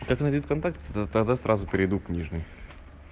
как найдёт вконтакте то тогда сразу перейду к нижней